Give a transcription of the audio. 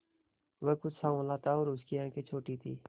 वह कुछ साँवला था और उसकी आंखें छोटी थीं